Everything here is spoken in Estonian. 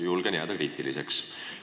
Julgen jääda kriitiliseks.